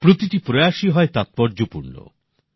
প্রতিটি প্রয়াসই হয় তাৎপর্যপূর্ণ